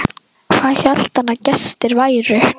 Hvað hélt hann að gestir væru?